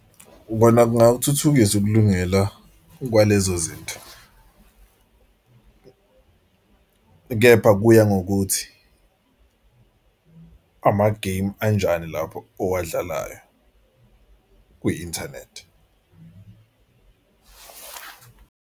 Kona kungawuthuthukisa ukulungela kwalezo zinto, kepha kuya ngokuthi amagemu anjani lapho owadlalayo kwi-inthanethi.